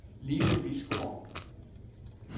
Lise Bisgaard